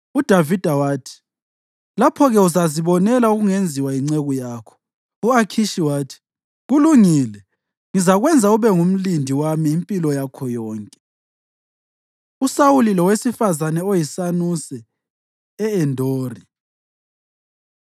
UDavida wathi, “Lapho-ke uzazibonela okungenziwa yinceku yakho.” U-Akhishi wathi, “Kulungile, ngizakwenza ube ngumlindi wami impilo yakho yonke.” USawuli Lowesifazane Oyisanuse E-Endori